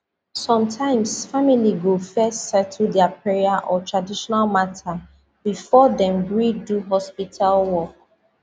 sometimes family go first settle their prayer or traditional matter before dem gree do hospital work